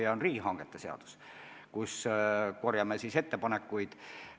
See on riigihangete seadus, mille kohta me korjame ettepanekuid.